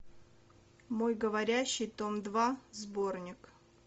мой говорящий том два сборник